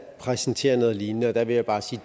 præsenterer noget lignende og der vil jeg bare sige